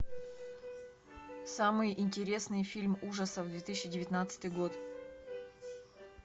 самый интересный фильм ужасов две тысячи девятнадцатый год